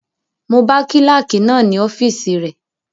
Mo bá kílàkì náà ní ọ́fìsì rẹ